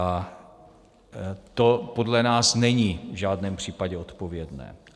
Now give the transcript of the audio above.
A to podle nás není v žádném případě odpovědné.